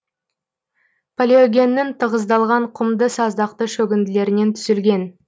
палеогеннің тығыздалған құмды саздақты шөгінділерінен түзілген